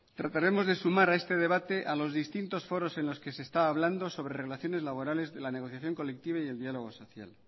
trataremos de sumar a este debate a los distintos foros en los que se está hablando sobre relaciones laborales de la negociación colectiva y del diálogo social